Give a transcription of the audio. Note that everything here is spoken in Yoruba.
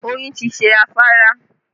Oyin ti ṣe afárá